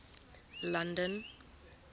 london